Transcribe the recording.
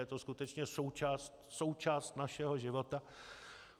Je to skutečně součást našeho života.